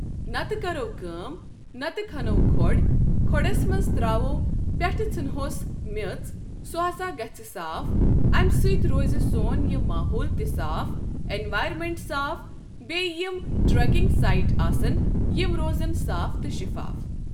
نتہٕ کرو کٲم نتہٕ کھنو کھۄڑ کھۄڑس منٛز تراوو ،پٮ۪ٹھٕ ژھِنہٕ ہوس میژ سُہ ہسا گژھِ صاف، امہِ سۭتۍ روزِ سون یہِ ماحول تہِ صاف اٮ۪نوارمنٹ صاف بیٚیہِ یِم ٹرٛیکنٛگ سایٹ آسَن یِم روزَن صاف تہٕ شفاف۔